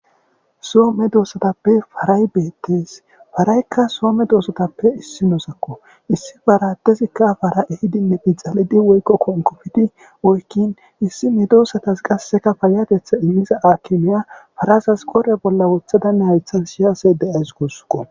soome doossatappe paray beettes faraykka soome doosotappe issi noosakko issi faratezikka fara ehidinne bixalidi woykko konkofiti woykkin issi midosatas qasseka payatetha immiza aakimiya farasas qore bolla woothadanne haythan shiyase de7ays gussqo